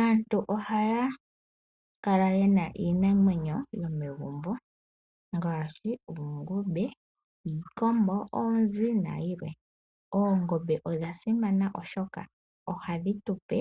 Aantu ohaya kala ye na iinamwenyo momagumbo ngaashi oongombe, iikombo, oonzi nayilwe. Oongombe odha simana oshoka ohadhi tu pe